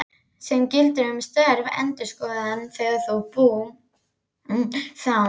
sem gildir um störf endurskoðanda þegar bú, þám.